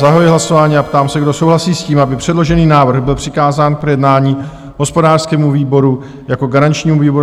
Zahajuji hlasování a ptám se, kdo souhlasí s tím, aby předložený návrh byl přikázán k projednání hospodářskému výboru jako garančnímu výboru?